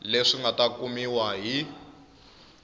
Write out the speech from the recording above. leswi nga ta kumiwa hi